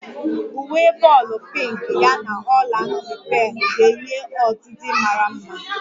Uwe bọọlu pinki ya n'ọla nti pealu ga-enye ọdidi mara mma